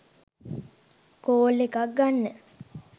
call එකක් ගන්න